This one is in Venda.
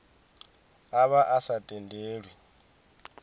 a vha a sa tendelwi